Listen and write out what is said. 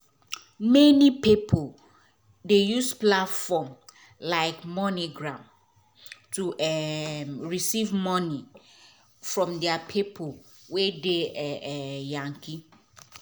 many pipo dey use platform like moneygram to um receive moni from deir pipo wey dey um yankee